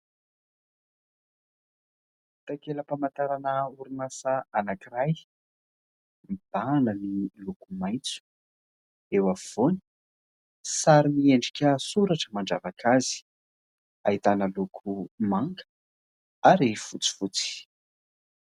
Takela-pamantarana orinasa anankiray. Mibahana ny maitso. Eo afovoany, sary miendrika soratra mandravaka azy. Ahitana loko manga ary fotsifotsy.